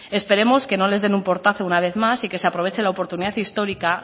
esperemos que no les den un portazo una vez más y que se aproveche la oportunidad histórica